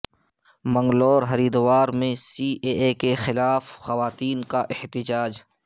منگلور ہریدوار میں C A A کے خلاف خواتین کا احتجاج